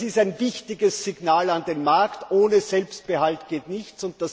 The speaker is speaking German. Das ist ein wichtiges Signal an den Markt ohne Selbstbehalt geht nichts!